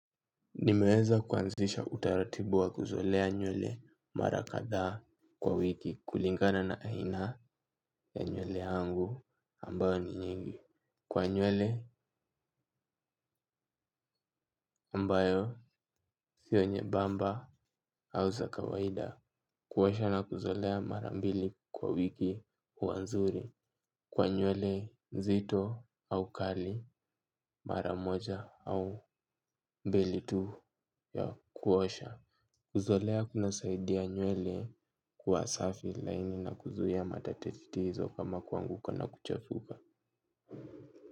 Nimeweza kuanzisha utaratibu wa kuzolea nywele mara kadhaa kwa wiki kulingana na aina ya nywele yangu ambayo ni nyingi. Kwa nywele ambayo sio nyembamba au za kawaida. Kuosha na kuzolea mara mbili kwa wiki huwa nzuri. Kwa nywele nzito au kali mara moja au mbili tu ya kuosha. Kuzolea kunasaidia nywele kuwa safi laini na kuzuia matatizo kama kuanguka na kuchafuka.